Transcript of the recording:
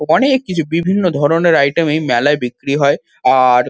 অনেক কিছু বিভিন্ন ধরণের আইটেম এই মেলায় বিক্রি হয় আর--